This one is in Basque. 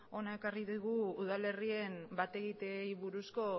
hona ekarri digu udal herrien bat egiteei buruzko